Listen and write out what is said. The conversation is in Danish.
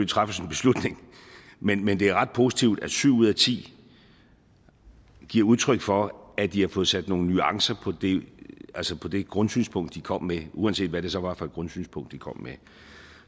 træffes en beslutning men men det er ret positivt at syv ud af ti giver udtryk for at de har fået sat nogle nuancer på det grundsynspunkt de kom med uanset hvad det så var for et grundsynspunkt de kom med